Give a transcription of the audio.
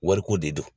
Wariko de don